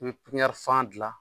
I bɛ pipiɲɛri fan dilan